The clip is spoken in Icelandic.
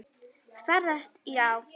Ferðast já.